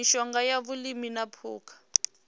mishonga ya vhulimi na phukha